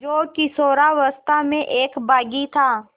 जो किशोरावस्था में एक बाग़ी था